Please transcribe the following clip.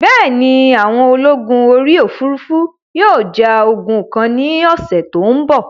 Bẹ́ẹ̀ni, àwọn ológun orí òfurufú yóò ja ogun kan ní ọ̀sẹ̀ tó ń bọ̀